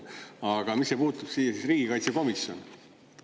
Aga mis see puutub siis riigikaitsekomisjoni?